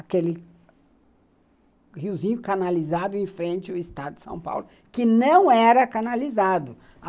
Aquele riozinho canalizado em frente ao estado de São Paulo, que não era canalizado.